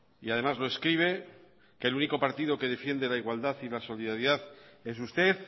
y además lo escribe que el único partido que defiende la igualdad y la solidaridad es usted